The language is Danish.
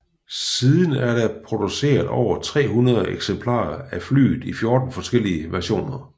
Siden er der blevet produceret over 300 eksemplarer af flyet i 14 forskellige versioner